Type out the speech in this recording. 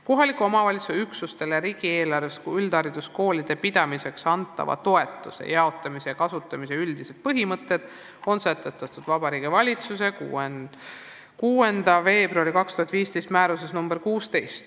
Kohaliku omavalitsuse üksustele riigieelarvest üldhariduskoolide pidamiseks antava toetuse jaotamise ja kasutamise üldised põhimõtted on sätestatud Vabariigi Valitsuse 6. veebruari 2015 määruses nr 16.